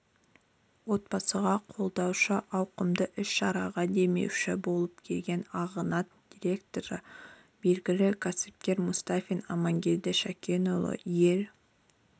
отбасыға қолдаушы ауқымды іс-шараларға демеуші болып келген арғанат директоры белгілі кәсіпкер мұстафин амангелді шакенұлы ел